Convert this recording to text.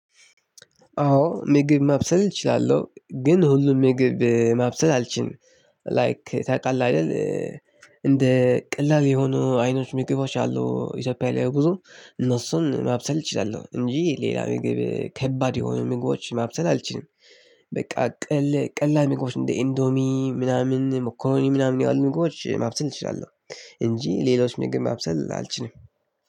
አዎ ምግብ ማብሰል እችላለሁ ግን ሁሉም ምግብ ማብሰል አልችልም ላይክ ታውቃለህ አይደል እንደ ቀላል የሆኑ አይነት ምግቦች አሉ ኢትዮጵያ ላይ ብዙ እነሱን ማብሰል እችላለሁ እንጂ ሌላ ምግብ ከባድ የሆኑ ምግቦች ማብሰል አልችልም። በቃ ቀል ቀላል ምግቦች እንደ ኢንዶሚ ምናምን መኮረኒ ምናምን ያሉ ምግቦች ማብሰል እችላለሁ። እንጂ ሌሎች ምግብ ማብሰል አልችልም።